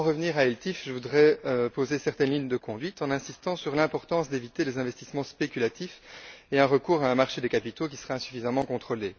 Pour en revenir aux ELTIF, je voudrais poser une certaine ligne de conduite en insistant sur l'importance d'éviter des investissements spéculatifs et un recours à un marché des capitaux qui serait insuffisamment contrôlé.